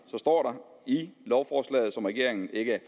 står i lovforslaget som regeringen ikke